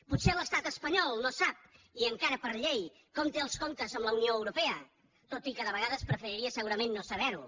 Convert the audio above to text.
potser l’estat espanyol no sap i encara per llei com té els comptes amb la unió europea tot i que de vegades preferiria segurament no saber ho